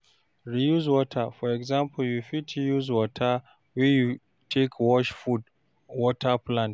Reuse water, for example you fit use water wey you take wash food water plant